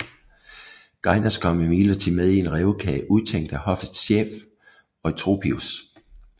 Gainas kom imidlertid med i en rævekage udtænkt af hoffets chef Eutropius